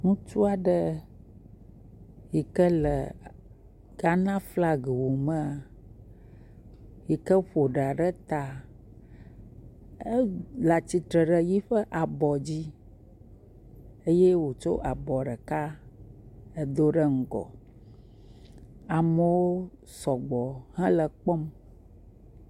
Ŋutsua ɖe yike le Ghana flag wu mea, yike ƒo ɖa ɖe ta. Ele atsitre ɖe eƒe abɔ dzi eye wodo abɔ ɖeka ɖe ŋgɔ. Amewo sɔgbɔ he kpɔm.